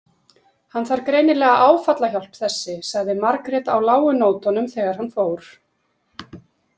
Hann þarf greinilega áfallahjálp þessi, sagði Margrét á lágu nótunum þegar hann fór.